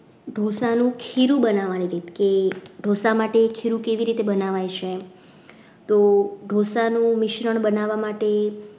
ઢોસાનું ખીરું બનાવવાની રીત કે ઢોસા માટે ખીરું કેવી રીતે બનાવાય છે તો ઢોસાનું મિશ્રણ બનાવવા માટે